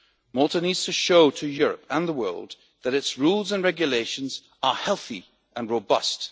Malta needs to show to Europe and the world that its rules and regulations are healthy and robust.